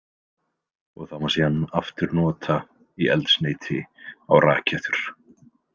Og það má síðan aftur nota í eldsneyti á rakettur.